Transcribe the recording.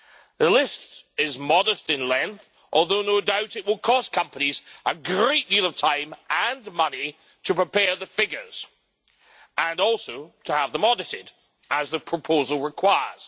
The list is modest in length, although no doubt it will cost companies a great deal of time and money to prepare the figures and also to have them audited, as the proposal requires.